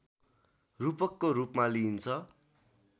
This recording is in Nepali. रूपकको रूपमा लिइन्छ